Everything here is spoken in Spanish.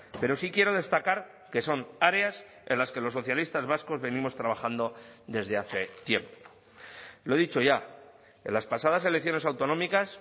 pero sí quiero destacar que son áreas en las que los socialistas vascos venimos trabajando desde hace tiempo lo he dicho ya en las pasadas elecciones autonómicas